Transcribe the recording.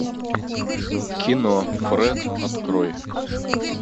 кино фред открой